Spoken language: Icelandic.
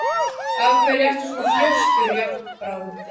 Af hverju ertu svona þrjóskur, Járnbrá?